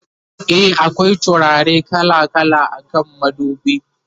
e akwai turare kala kala akan madubi